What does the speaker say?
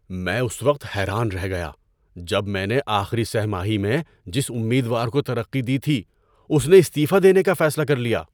میں اس وقت حیران رہ گیا جب میں نے آخری سہ ماہی میں جس امیدوار کو ترقی دی تھی اس نے استعفیٰ دینے کا فیصلہ کر لیا۔